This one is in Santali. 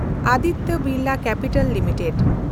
Aditya Birla capital limited